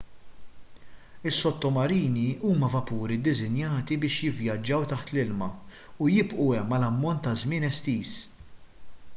is-sottomarini huma vapuri ddisinjati biex jivvjaġġaw taħt l-ilma u jibqgħu hemm għal ammont ta' żmien estiż